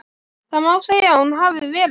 Það má segja að hún hafi verið.